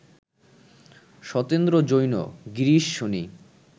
Satendra Jain, Girish Sony